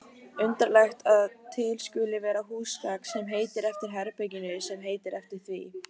Undarlegt að til skuli vera húsgagn sem heitir eftir herberginu sem heitir eftir því.